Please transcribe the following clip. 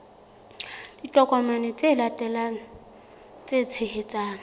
ditokomane tse latelang tse tshehetsang